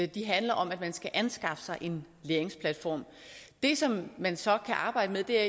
de handler om at man skal anskaffe sig en læringsplatform det som man så kan arbejde